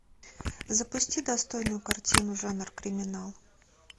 запусти достойную картину жанр криминал